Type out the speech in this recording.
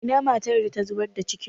Ina matar da ta zubar da cikin?